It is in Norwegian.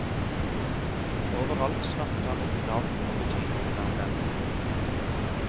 Overalt snappet han opp navn og betydningen av dem.